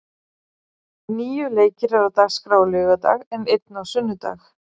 Níu leikir eru á dagskrá á laugardag, en einn á sunnudag.